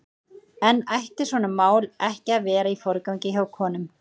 En ætti svona mál ekki að vera í forgangi hjá konum?